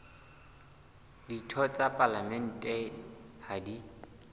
ditho tsa palamente ha di